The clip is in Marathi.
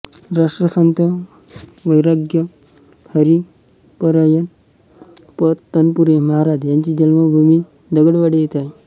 राष्ट्रसंत वै ह भ प तनपुरे महाराज यांची जन्मभूमी दगडवाडी येथे आहे